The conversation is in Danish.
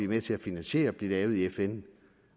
med til at finansiere bliver lavet i fn